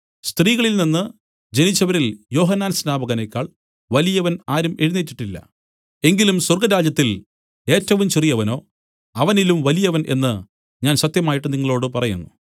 സ്ത്രീകളിൽ നിന്നു ജനിച്ചവരിൽ യോഹന്നാൻ സ്നാപകനെക്കാൾ വലിയവൻ ആരും എഴുന്നേറ്റിട്ടില്ല എങ്കിലും സ്വർഗ്ഗരാജ്യത്തിൽ ഏറ്റവും ചെറിയവനോ അവനിലും വലിയവൻ എന്നു ഞാൻ സത്യമായിട്ട് നിങ്ങളോടു പറയുന്നു